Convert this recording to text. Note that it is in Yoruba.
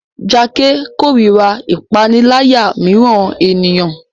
Jake korira ipanilaya miiran eniyan